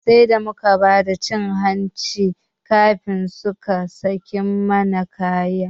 Sai da muka bada cin hanci kafin suka sake mana kaya.